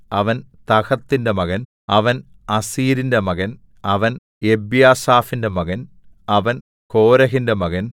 അവൻ തഹത്തിന്റെ മകൻ അവൻ അസ്സീരിന്റെ മകൻ അവൻ എബ്യാസാഫിന്റെ മകൻ അവൻ കോരഹിന്റെ മകൻ